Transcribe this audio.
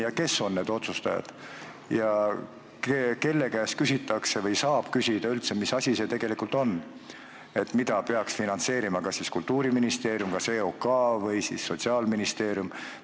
Ja kes on need otsustajad, kelle käest küsitakse või saab küsida, mis asjad need tegelikult on, mida peaks finantseerima kas Kultuuriministeerium, EOK või Sotsiaalministeerium?